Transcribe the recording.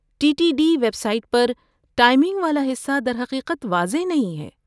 T T D website پر timing والا حصہ در حقیقت واضح نہیں ہے۔